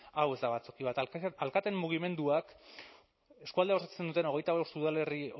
hau ez da batzoki bat alkateen mugimenduak eskualdea osatzen duten hogeita bost udalerri